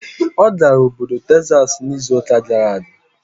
Ọ gara oboy Tekzas n'izu gara aga?